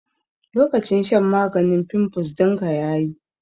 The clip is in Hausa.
Lokacin shan maganin fimfus dinka yayi